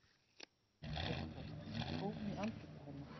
Eitthvert tóm í andliti hennar.